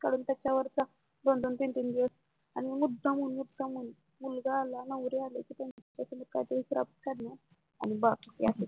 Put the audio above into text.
कारण त्याच्यावरती दोन दोन तीन तीन दिवस आणि मग मुद्दामून मुद्दामुन मुलगा आला नवरी आली त्यांचात काहीतरी खराब करणार